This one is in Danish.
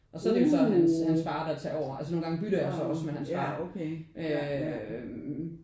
Og så er det jo så hans hans far der tager over og nogle gange bytter jeg så også med hans far øh